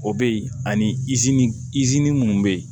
O be yen ani izini izini minnu bɛ yen